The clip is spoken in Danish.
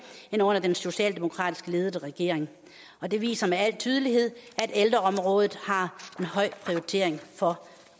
end under den socialdemokratisk ledede regering og det viser med al tydelighed at ældreområdet har en høj prioritering for